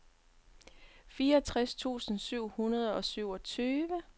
fireogtres tusind syv hundrede og syvogtyve